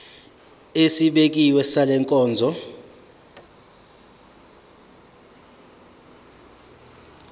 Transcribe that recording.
esibekiwe sale nkonzo